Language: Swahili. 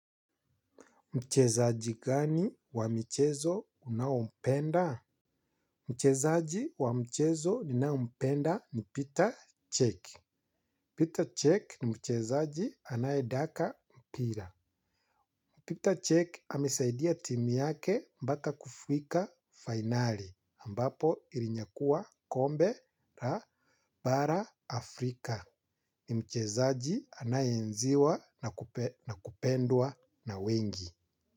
Mchezaji gani wa michezo unaumpenda? Mchezaji wa mchezo ninaumpenda ni Peter Check. Peter Check ni muchezaji anaedaka mpira. Peter Check amesaidia timu yake mpaka kufuika finali ambapo ilinyakua kombe la bara Afrika ni mchezaji anaenziwa na kupendwa na wengi.